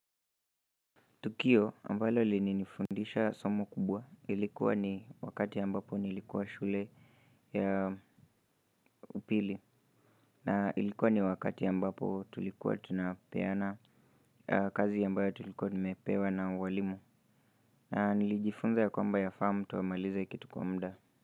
Tukio ambalo lilinifundisha somo kubwa, ilikuwa ni wakati ambapo nilikuwa shule ya upili. Na ilikuwa ni wakati ambapo tulikuwa tunapeana kazi ambayo tulikuwa tumepewa na walimu. Na nilijifunza ya kwamba yafaa mtu amalize kitu kwa muda.